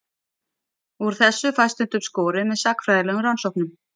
Úr þessu fæst stundum skorið með sagnfræðilegum rannsóknum.